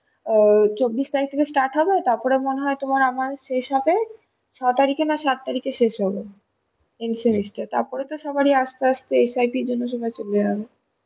ও চব্বিশ তারিখ থেকে start হবে তারপর মনে হয় তোমার আবার শেষ হবে ছয় তারিখে না সাত তারিখে শেষ হবে second semister, তারপর তো সবাই আস্তে আস্তে SIP জন্যে চলে যাবে